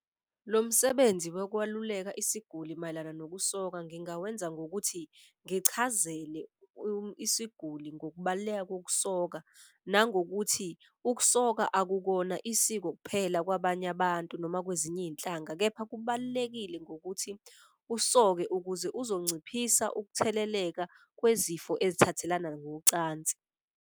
Lo msebenzi wekwaluleka isiguli mayelana nokusoka ngingawenza ngokuthi ngichazele isiguli ngokubaluleka ngokusoka. Nangokuthi ukusoka akukona isiko kuphela kwabanye abantu noma kwezinye izinhlanga kepha kubalulekile ngokuthi usoke. Ukuze uzonciphisa ukutheleleka kwezifo ezithathelana ngocansi.